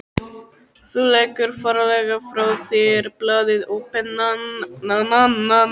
Þú leggur varlega frá þér blaðið og pennann.